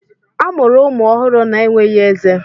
A mụrụ ụmụ ọhụrụ na-enweghị ezé.